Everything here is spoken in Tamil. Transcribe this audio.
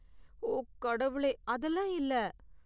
ஓ கடவுளே, அதெல்லாம் இல்ல!